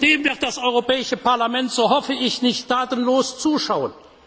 Und dem wird das Europäische Parlament, so hoffe ich, nicht tatenlos zuschauen!